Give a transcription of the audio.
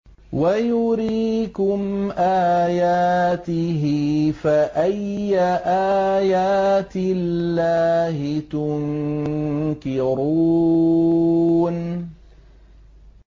وَيُرِيكُمْ آيَاتِهِ فَأَيَّ آيَاتِ اللَّهِ تُنكِرُونَ